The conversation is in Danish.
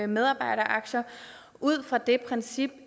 medarbejderaktier ud fra det princip